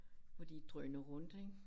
Hvor de drøner rundt ik